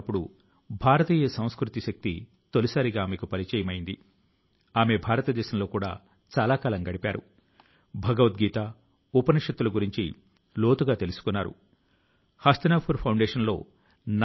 ప్రజల స్వచ్ఛమైన ఆరోగ్యకరమైన భవిష్యత్తు కోసం ఈ స్టార్ట్ అప్ ప్రాముఖ్యాన్ని దృష్టి లో పెట్టుకొని దీనికి గ్లోబల్ అవార్డు కూడా లభించింది